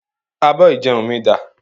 Abọ́ ìjẹun mi dà?